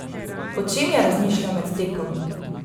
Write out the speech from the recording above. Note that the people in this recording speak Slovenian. O čem je razmišljal med tekom?